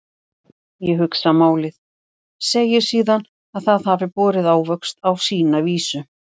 Ég hugsa málið, segi síðan að það hafi borið ávöxt á sína vísu.